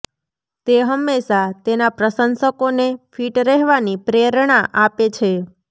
તે હંમેશાં તેના પ્રશંસકોને ફિટ રહેવાની પ્રેરણા આપે છે